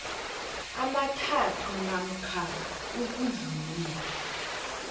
amathathu namkha ukudlula